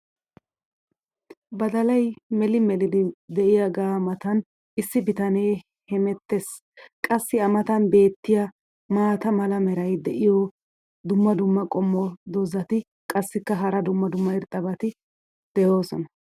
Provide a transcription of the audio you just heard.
baddalay melii mellidi diyaagaa matan issi bitanee hemettees. qassi a matan beetiya maata mala meray diyo dumma dumma qommo dozzati qassikka hara dumma dumma irxxabati doosona.